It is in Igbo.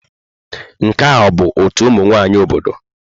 Nke a ọ bụ ọtú ụmụ nwanyị obodo?